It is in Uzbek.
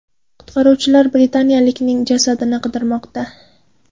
Qutqaruvchilar britaniyalikning jasadini qidirmoqda.